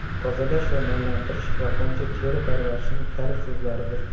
Tozalash va namlantirish yaponcha teri parvarishining kalit so‘zlaridir.